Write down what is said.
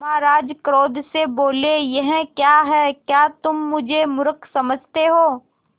महाराज क्रोध से बोले यह क्या है क्या तुम मुझे मुर्ख समझते हो